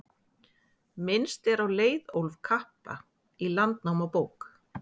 minnst er á leiðólf kappa í landnámabók